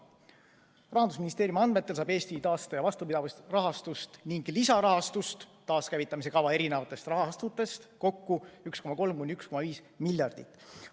Rahandusministeeriumi andmetel saab Eesti taaste- ja vastupidavusrahastust ning lisarahastust taaskäivitamise kava erinevatest rahastutest kokku 1,3–1,5 miljardit.